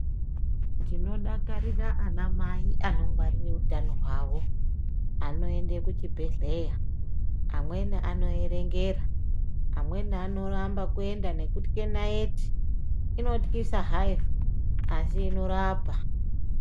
Ndino dakarira ana mai anongwarire utano hwavo anoende ku chibhedhleya amweni ano erengera amweni anoramba kuenda nekutya naiti inotyisa hayo asi inorapa.